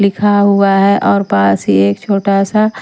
लिखा हुआ है और पास ही एक छोटा सा--